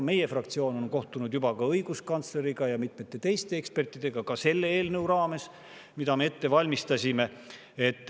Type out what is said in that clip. Meie fraktsioon on kohtunud juba õiguskantsleriga ja mitmete teiste ekspertidega ka selle eelnõu raames, mida me ette valmistasime.